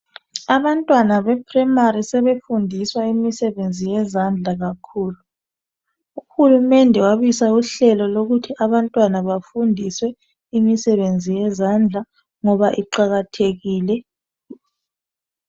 Abantwana be primary sebefundiswa imisebenzi yezandla kakhulu. Uhulumende wabisa uhlelo lokuthi abantwana bafundiswe imisebenzi yezandla ngoba iqakathekile.